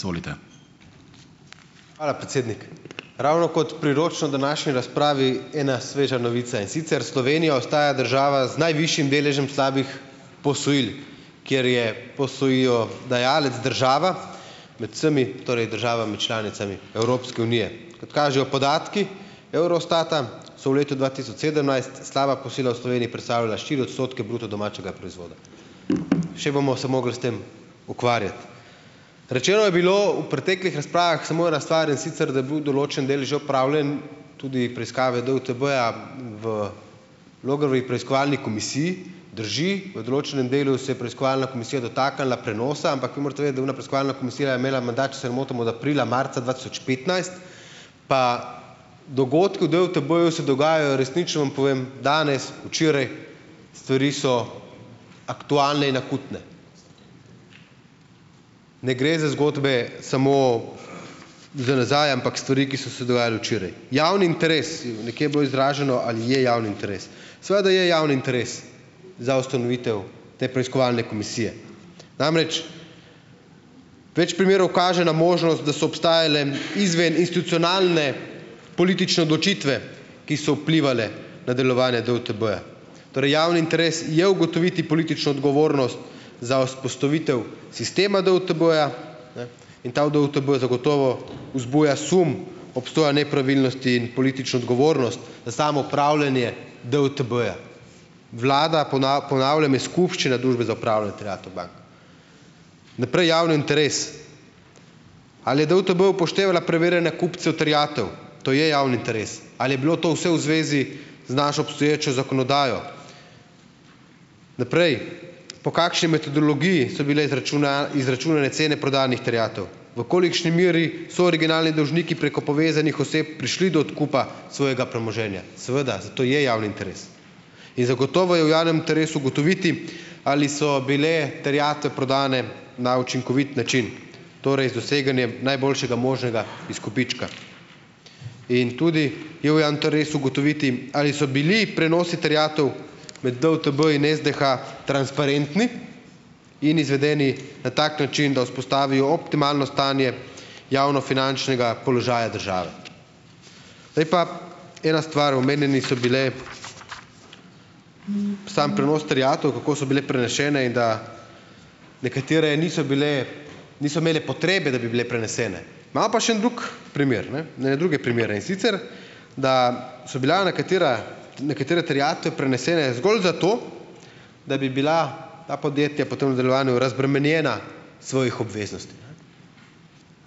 Izvolite. Hvala, predsednik. Ravno kot priročno današnji razpravi ena sveža novica, in sicer Slovenija ostaja država z najvišjim deležem slabih posojil, kjer je posojilodajalec država med vsemi torej državami članicami Evropske unije. Kot kažejo podatki Eurostata, so v letu dva tisoč sedemnajst slaba posojila v Sloveniji predstavljala štiri odstotke bruto domačega proizvoda. Še bomo se morali s tem ukvarjati. Rečeno je bilo v preteklih razpravah, samo ena stvar, in sicer, da je bil določen del že opravljen, tudi preiskave DUTB-ja v Logarjevi preiskovalni komisiji, drži, v določenem delu se je preiskovalna komisija dotaknila prenosa, ampak vi morate vedeti, ona preiskovalna komisija je imela mandat, če se ne motim, od aprila, marca dva tisoč petnajst, pa dogodki v DUTB-ju se dogajajo, resnično vam povem, danes, včeraj, stvari so aktualne in akutne. Ne gre za zgodbe samo za nazaj, ampak stvari, ki so se dogajale včeraj. Javni interes in nekje je bilo izraženo, ali je javni interes. Seveda je javni interes za ustanovitev te preiskovalne komisije. Namreč več primerov kaže na možnost, da so obstajale izven institucionalne politične odločitve, ki so vplivale na delovanje DUTB-ja. Torej javni interes je ugotoviti politično odgovornost za vzpostavitev sistema DUTB-ja, ne, in ta DUTB zagotovo vzbuja sum obstoja nepravilnosti in politično odgovornost na samo upravljanje DUTB-ja. Vlada, ponavljam, iz skupščine Družbe za upravljanje terjatev bank. Naprej javni interes. Ali je DUTB upoštevala preverjanje kupcev terjatev. To je javni interes. Ali je bilo to vse v zvezi z našo obstoječo zakonodajo? Naprej, po kakšni metodologiji so bile izračunane cene prodanih terjatev? V kolikšni meri so originalni dolžniki preko povezanih oseb prišli do odkupa svojega premoženja? Seveda, zato je javni interes. In zagotovo je v javnem interesu ugotoviti ali so bile terjate prodane na učinkovit način, torej z doseganjem najboljšega možnega izkupička. In tudi je v ugotoviti, ali so bili prenosi terjatev med DUTB in SDH transparentni in izvedeni na tak način, da vzpostavijo optimalno stanje javnofinančnega položaja države. Zdaj pa ena stvar, omenjeni so bile samo prenos terjatev, kako so bile prenešene in da nekatere niso bile, niso imeli potrebe, da bi bile prenesene. Imam pa še en drug primer, ne, druge primere, in sicer da so bila nekatera, nekatere terjatve prenesene zgolj zato, da bi bila ta podjetja potem v nadaljevanju razbremenjena svojih obveznosti, ne.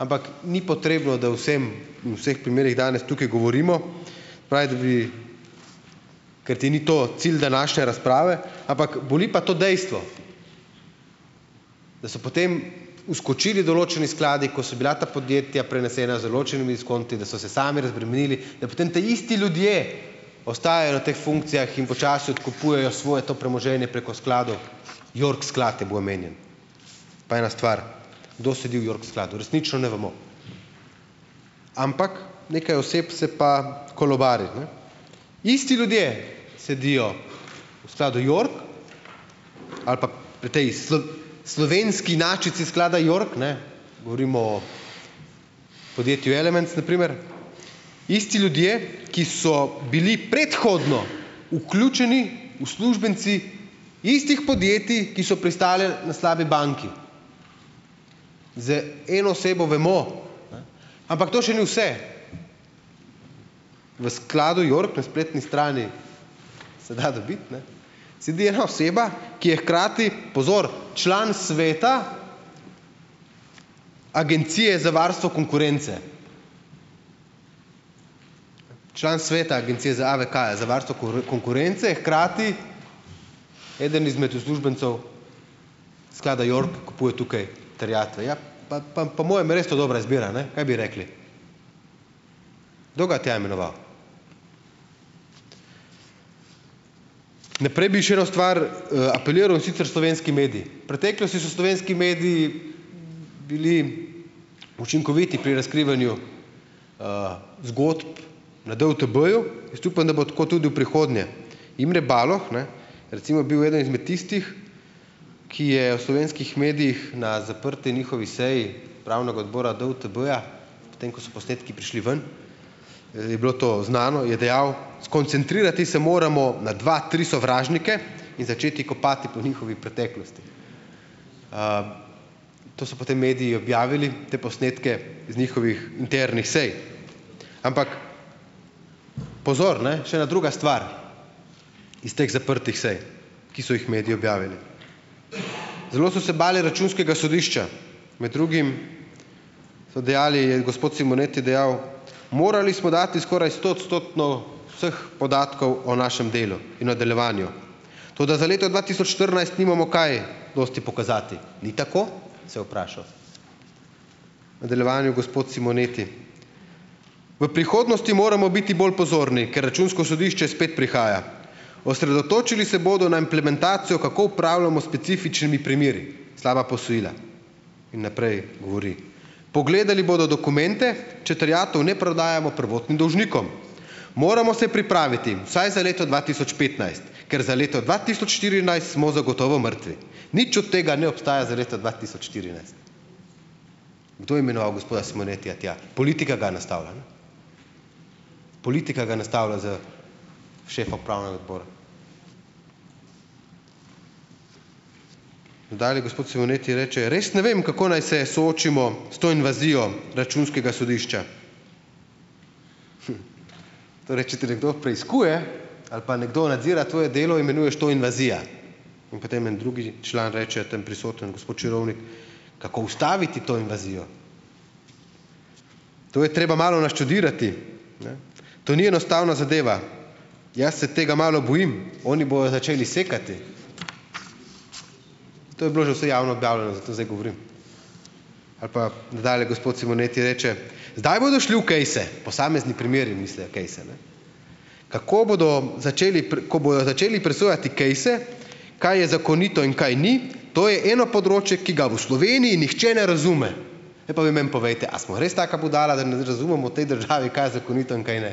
Ampak ni potrebno, da vsem, vseh primerih danes tukaj govorimo, fajn, da bi, ker ti ni to cilj današnje razprave, ampak boli pa to dejstvo, da so potem vskočili določeni skladi, ko so bila ta podjetja prenesena z določenimi skonti, da so se sami razbremenili, da potem taisti ljudje ostajajo na teh funkcijah in počasi odkupujejo svoje to premoženje preko skladov, York sklad je bil omenjen. Pa ena stvar. Kdo sedi v York skladu? Resnično ne vemo. Ampak nekaj oseb se pa kolovari, ne. Isti ljudje sedijo v skladu York, ali pa v tej slovenski inačici sklada York, ne, govorimo o podjetju Elements na primer, isti ljudje, ki so bili predhodno vključeni uslužbenci istih podjetij, ki so pristajale na slabi banki. Zdaj eno osebo vemo, ne, ampak to še ni vse. V skladu York na spletni strani se da dobiti, ne, sedi ena oseba, ki je hkrati, pozor, član sveta Agencije za varstvo konkurence. Član sveta Agencije za AVK-ja, za varstvo konkurence, hkrati eden izmed uslužbencev sklada York kupuje tukaj terjatve, ja pa pa po mojem res to dobra izbira, ne, kaj bi rekli? Kdo ga je tja imenoval? Naprej bi še eno stvar apeliral, in sicer slovenski mediji. Preteklosti so slovenski mediji bili učinkoviti pri razkrivanju zgodb na DUTB-ju, jaz upam, da bo tako tudi v prihodnje. Imre Baloh, ne, recimo je bil eden izmed tistih, ki je v slovenskih medijih na zaprti njihovi seji Upravnega odbora DUTB-ja, potem ko so posnetki prišli ven, je bilo to znano, je dejal: "Skoncentrirati se moramo na dva, tri sovražnike in začeti kopati po njihovi preteklosti." to so potem mediji objavili te posnetke iz njihovih internih sej, ampak pozor, ne, še ena druga stvar iz teh zaprtih sej, ki so jih mediji objavili. Zelo so se bali Računskega sodišča, med drugim so dejali, je gospod Simoneti dejal: "Morali smo dati skoraj stoodstotno vseh podatkov o našem delu in o delovanju. Toda za leto dva tisoč štirinajst nimamo kaj dosti pokazati. Ni tako?" Se je vprašal. V nadaljevanju gospod Simoneti: "V prihodnosti moramo biti bolj pozorni, ker Računsko sodišče spet prihaja. Osredotočili se bodo na implementacijo, kako upravljamo specifičnimi primeri, slaba posojila." In naprej govori: "Pogledali bodo dokumente, če terjatev ne prodajamo prvotnim dolžnikom. Moramo se pripraviti, vsaj za leto dva tisoč petnajst, ker za leto dva tisoč štirinajst smo zagotovo mrtvi. Nič od tega ne obstaja za leto dva tisoč štirinajst." Kdo je imenoval gospoda Simonetija tja? Politika ga je nastavila. Politika ga je nastavila s šefom pravnega odbora. Nadalje gospod Simoneti reče: "Res ne vem, kako naj se soočimo s to invazijo Računskega sodišča." Torej, če te nekdo preiskuje ali pa nekdo nadzira tvoje delo, imenuješ to invazija, in potem en drugi član reče, tam prisoten gospot Čirovlik: "Kako ustaviti to invazijo? To je treba malo naštudirati, ne. To ni enostavna zadeva, jaz se tega malo bojim, oni bojo začeli sekati." To je bilo že vse javno objavljeno, zato zdaj govorim. Ali pa nadalje gospod Simoneti reče: "Zdaj bodo šli v kejse." Posamezni primeri mislijo kejse. Kako bodo začeli ko bojo začeli presojati kejse, kaj je zakonito in kaj ni, to je eno področje, ki ga v Sloveniji nihče ne razume. Zdaj pa vi meni povejte, a smo res taka budala, da ne razumemo v tej državi, kaj je zakonito in kaj ne?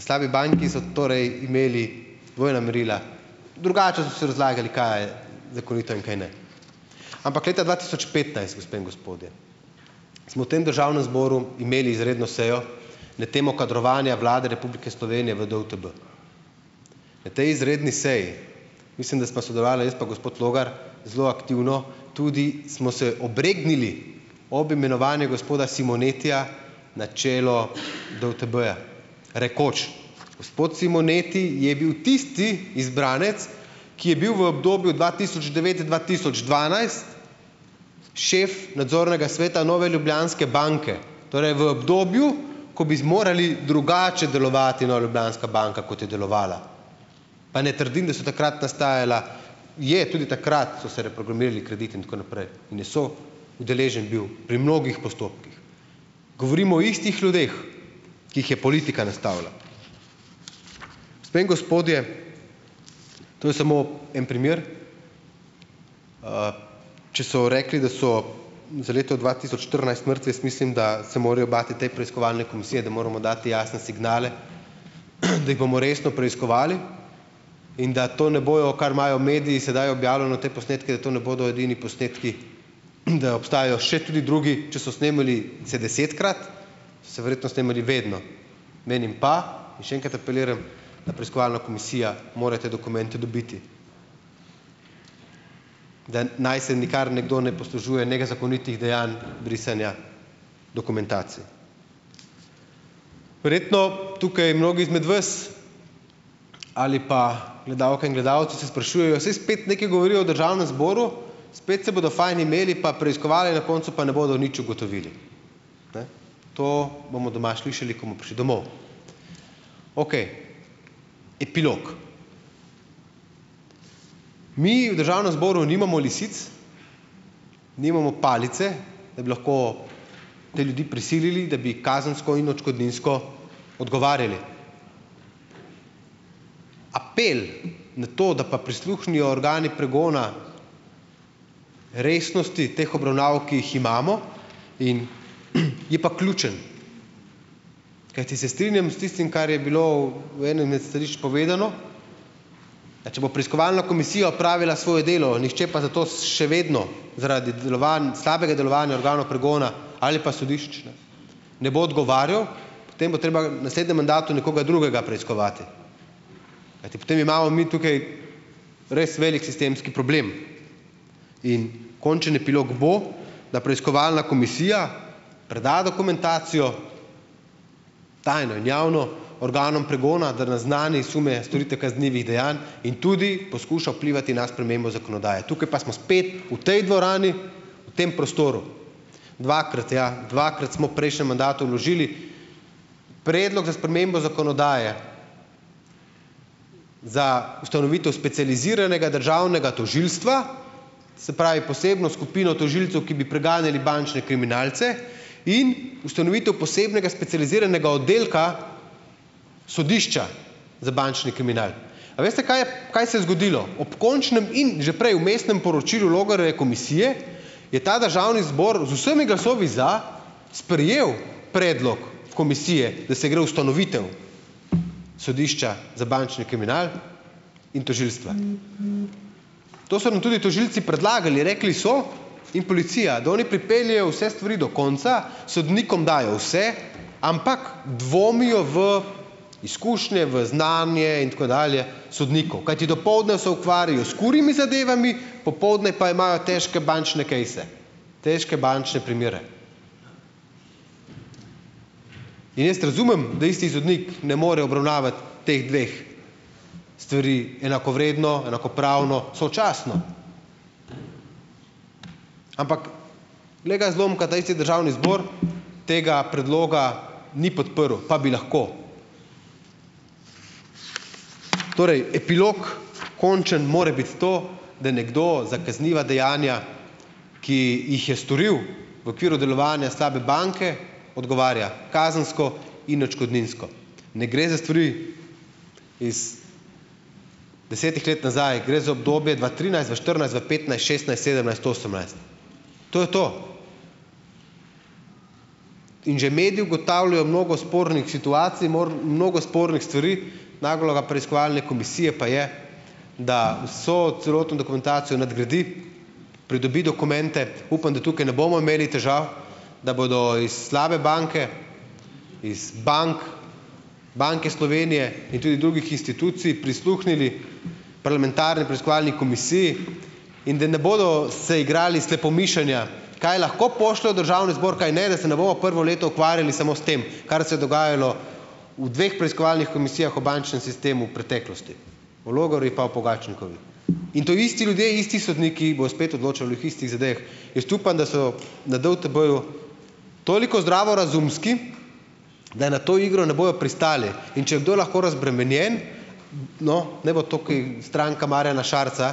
Slabi banki so torej imeli dvojna merila. Drugače so si razlagali, kaj je zakonito in kaj ne. Ampak leta dva tisoč petnajst, gospe in gospodje, smo v tem Državnem zboru imeli izredno sejo na temo kadrovanja Vlade Republike Slovenije v DUTB. Na tej izredni seji, mislim, da sva sodelovala jaz pa gospod Logar, zelo aktivno, tudi smo se obregnili ob imenovanju gospoda Simonetija na čelo DUTB-ja. Rekoč, gospod Simoneti je bil tisti izbranec, ki je bil v obdobju dva tisoč devet-dva tisoč dvanajst šef nadzornega sveta Nove Ljubljanske banke, torej v obdobju, ko bi zmorali drugače delovati Nova Ljubljanska banka, kot je delovala. Pa ne trdim, da so takrat nastajala, je tudi takrat so se reprogramirali krediti in tako naprej, in so udeležen bil pri mnogih postopkih. Govorimo o istih ljudeh, ki jih je politika nastavila. Gospe in gospodje, to je samo en primer, če so rekli, da so za leto dva tisoč štirinajst mrtvi, jaz mislim, da se morajo bati te preiskovalne komisije, da moramo dati jasne signale, da jih bomo resno preiskovali in da to ne bojo, kar imajo mediji sedaj objavljeno te posnetke, da to ne bodo edini posnetki, da obstajajo še tudi drugi, če so snemali se desetkrat, se verjetno snemali vedno. Menim pa in še enkrat apeliram, da preiskovalno komisija mora te dokumente dobiti. Da naj se nikar nekdo ne poslužuje nega zakonitih dejanj brisanja dokumentacij. Verjetno tukaj mnogi izmed vas ali pa gledalke in gledalci se sprašujejo, saj spet nekaj govorijo v Državnem zboru, spet se bojo fajn imeli pa preiskovali, na koncu pa ne bodo nič ugotovili, ne. To bomo doma slišali, ko bomo prišli domov. Okej, epilog. Mi v Državnem zboru nimamo lisic, nimamo palice, da bi lahko te ljudi prisilili, da bi kazensko in odškodninsko odgovarjali. Apel na to, da pa prisluhnejo organi pregona resnosti teh obravnav, ki jih imamo in je pa ključen. Kajti se strinjam s tistim, kar je bilo v enem imeti stališč povedano, da če bo preiskovalna komisija opravila svoje delo, nihče pa zato še vedno zaradi delovanj, slabega delovanja organov pregona ali pa sodišč, ne, ne bo odgovarjal, potem bo treba naslednjem mandatu nekoga drugega preiskovati, kajti potem imamo mi tukaj res velik sistemski problem. In končen epilog bo, da preiskovalna komisija preda dokumentacijo tajno in javno, organom pregona, da naznani sume storitve kaznivih dejanj in tudi poskuša vplivati na spremembo zakonodaje. Tukaj pa smo spet v tej dvorani, v tem prostoru, dvakrat, ja, dvakrat smo v prejšnjem mandatu vložili predlog za spremembo zakonodaje za ustanovitev specializiranega državnega tožilstva, se pravi posebno skupino tožilcev, ki bi preganjali bančne kriminalce in ustanovitev posebnega specializiranega oddelka sodišča za bančni kriminal. A veste, kaj je, kaj se je zgodilo? Ob končnem in že prej vmesnem poročilu Logarjeve komisije, je ta državni zbor z vsemi glasovi za sprejel predlog komisije, da se gre ustanovitev sodišča za bančni kriminal in tožilstva. To so nam tudi tožilci predlagali, rekli so in policija, da oni pripeljejo vse stvari do konca, sodnikom dajo vse, ampak dvomijo v iskušnje, v znanje in tako dalje sodnikov, kajti dopoldne se ukvarjajo s kurjimi zadevami, popoldne pa imajo težke bančne kejse, težko bančne primere. Jaz razumem, da isti sodnik ne more obravnavati teh dveh stvari enakovredno, enakopravno, sočasno. Ampak glej ga zlomka, ta isti Državni zbor tega predloga ni podprl, pa bi lahko. Torej epilog končen mora biti to, da nekdo za kazniva dejanja, ki jih je storil v okviru delovanja slabe banke, odgovarja kazensko in otškodninsko. Ne gre za stvari iz desetih let nazaj, gre za obdobje dva trinajst, dva štirinajst, dva petnajst, šestnajst, sedemnajst, osemnajst. To je to. In že mediji ugotavljajo mnogo spornih situacij, mnogo spornih stvari, naloga preiskovalne komisije pa je, da so celotno dokumentacijo nadgradi, pridobi dokumente, upam, da tukaj ne bomo imeli težav, da bodo iz slabe banke, iz bank, Banke Slovenije in tudi drugih institucij prisluhnili parlamentarni preiskovalni komisiji in da ne bodo se igrali slepomišenja, kaj lahko pošljejo v Državni zbor, kaj ne, da se ne bomo prvo leto ukvarjali samo s tem, kar se dogajalo v dveh preiskovalnih komisijah v bančnem sistemu v preteklosti, o Logarjevi pa o Pogačnikovi. In to isti ljudje, isti sodniki bojo spet odločali o istih zadevah. Jaz upam, da so na DUTB-ju toliko zdravorazumski, da je na to igro ne bojo pristali, in če kdo lahko razbremenjen, no, naj bo toki stranka Marjana Šarca,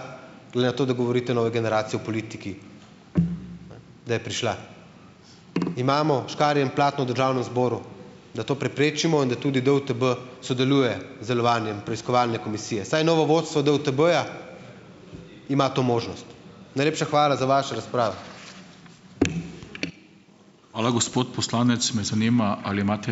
glede na to, da govorite nove generacije v politiki, da je prišla. Imamo škarje in platno Državnem zboru, da to preprečimo in da tudi DUTB sodeluje z delovanjem preiskovalne komisije, saj novo vodstvo DUTB-ja ima to možnost. Najlepša hvala za vaše razprave. Hvala, gospod poslanec. Me zanima ali imate ...